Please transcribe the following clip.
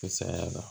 Saya la